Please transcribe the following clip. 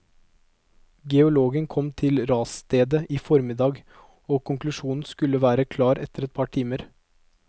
Geologen kom til rasstedet i formiddag, og konklusjonen skulle være klar etter et par timer.